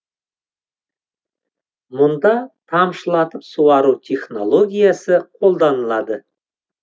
мұнда тамшылатып суару технологиясы қолданылады